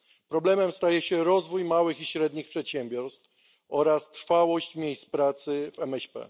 Problemem staje się rozwój małych i średnich przedsiębiorstw oraz trwałość miejsc pracy w MŚP.